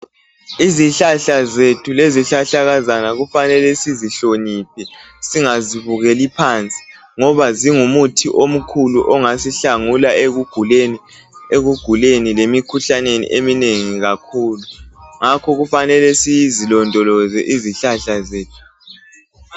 Izihlahla zethu lezihlahlakazana kufanele sizihloniphe singazibukeli phansi ngoba zingumuthi omkhulu ongasihlangula ekuguleni lemikhuhlaneni eminengi kakhulu ngakho kufanele sizilondoloze izihlahla zethu